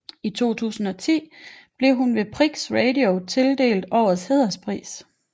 I 2010 blev hun ved Prix Radio tildelt Årets hæderspris